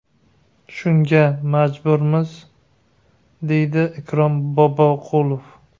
Shunga majburmiz”, deydi Ikrom Boboqulov.